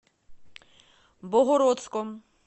богородском